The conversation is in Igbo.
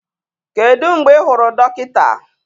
Kedu mgbe ị hụrụ dọkịta?